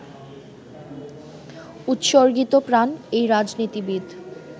উৎসর্গীতপ্রাণ এই রাজনীতিবিদ